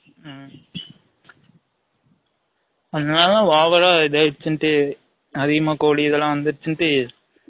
ம்ம் அந்த அன்னா தான் over ஆ இது ஆயிருசுன்டு அதிகமா கோழி இது எல்லாம் வந்துருச்சுன்ட்டு